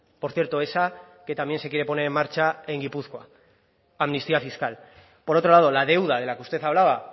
por cierto esa que también se quiere poner en marcha en gipuzkoa amnistía fiscal por otro lado la deuda de la que usted hablaba